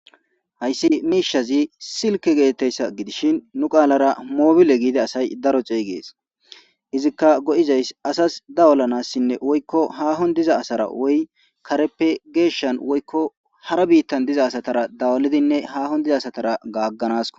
Hayssi miishazi silke geettessa gidishin nu qaalara moobile giide asay daro ceeygees izikka go7izays asas dawulanassinne woykko hahon diza asara woy kareppe geeshan woykko hara biittan diza asatara dawalidinne haahon diza asatara gaagganasko